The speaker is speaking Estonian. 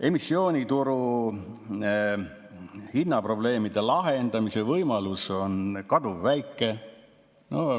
Emissioonituru hinnaprobleemide lahendamise võimalus on kaduvväike.